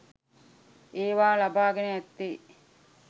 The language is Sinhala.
ඒවා ලබා ගෙන ඇත්තේ